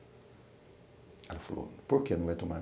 Ela falou, por que não vai tomar?